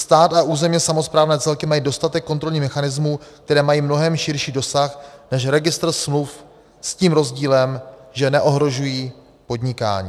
Stát a územně samosprávné celky mají dostatek kontrolních mechanismů, které mají mnohem širší dosah než registr smluv, s tím rozdílem, že neohrožují podnikání.